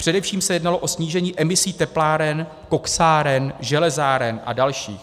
Především se jednalo o snížení emisí tepláren, koksáren, železáren a další.